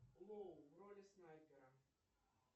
лоу в роли снайпера